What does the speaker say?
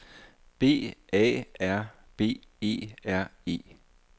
B A R B E R E